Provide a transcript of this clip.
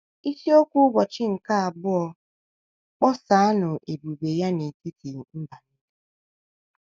Isiokwu Ụbọchị nke Abụọ: “ Kpọsaanụ Ebube Ya n’Etiti Mba Nile ”